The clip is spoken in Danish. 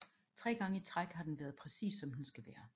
Tre gange i træk har den været præcis som den skal være